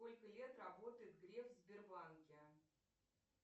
сколько лет работает греф в сбербанке